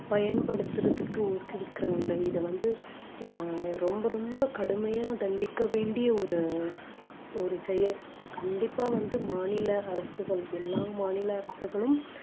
பயன்படுத்துறதுக்கு ஊக்குவிக்கிறாங்களே இதை வந்து அஹ் ரொம்ப ரொம்ப கடுமையா தண்டிக்க வேண்டிய ஒரு ஒரு செயல் கண்டிப்பா வந்து மாநில அரசுகள் எல்லா மாநில அரசுகளும்